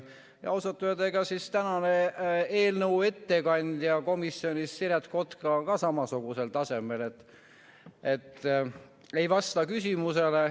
Ausalt öelda, tänase eelnõu komisjoni ettekandja Siret Kotka on ka samasugusel tasemel, et ei vasta küsimusele.